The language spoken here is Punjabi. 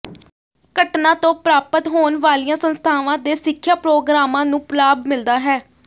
ਘਟਨਾ ਤੋਂ ਪ੍ਰਾਪਤ ਹੋਣ ਵਾਲ਼ੀਆਂ ਸੰਸਥਾਵਾਂ ਦੇ ਸਿੱਖਿਆ ਪ੍ਰੋਗਰਾਮਾਂ ਨੂੰ ਲਾਭ ਮਿਲਦਾ ਹੈ